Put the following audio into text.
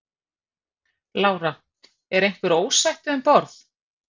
Lára: Er einhver ósætti um borð?